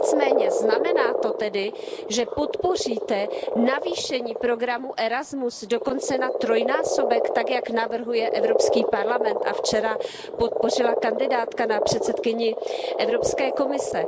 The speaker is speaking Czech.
Nicméně, znamená to tedy, že podpoříte navýšení programu ERASMUS, dokonce na trojnásobek tak, jak to navrhuje EP a včera podpořila kandidátka na předsedkyni Evropské komise?